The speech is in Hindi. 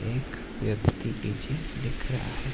एक व्यक्ति पीछे दिख रहा है।